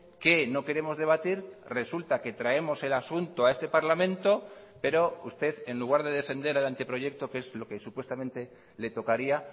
que no queremos debatir resulta que traemos el asunto a este parlamento pero usted en lugar de defender el anteproyecto que es lo que supuestamente le tocaría